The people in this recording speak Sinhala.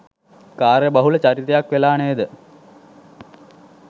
කාර්යබහුල චරිතයක් වෙලා නේද?